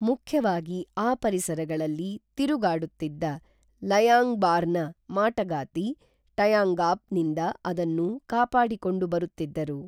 ಮುಖ್ಯವಾಗಿ ಆ ಪರಿಸರಗಳಲ್ಲಿ ತಿರುಗಾಡುತ್ತಿದ್ದ ಲೈಯಾಂಗ್ಬಾರ್ನ ಮಾಟಗಾತಿ ಟೈಯಾಂಗಾಪ್ ನಿಂದ ಅದನ್ನು ಕಾಪಾಡಿಕೊಂಡು ಬರುತ್ತಿದ್ದರು